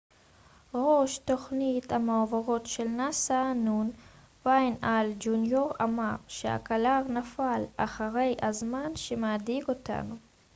ראש תוכנית המעבורות של נאס א נ' וויין הייל ג'וניור אמר שהקלקר נפל אחרי הזמן שמדאיג אותנו